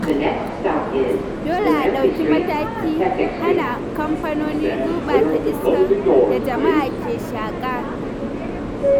Dole a ɗauki matakin hana kamfanoni gurɓata iskar da jama ke shaƙa.